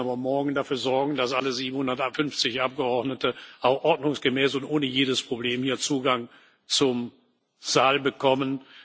Wir müssen aber morgen dafür sorgen, dass alle 750 Abgeordneten ordnungsgemäß und ohne jedes Problem hier Zugang zum Saal bekommen.